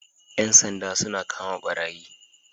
Yan sanja suna kama barayi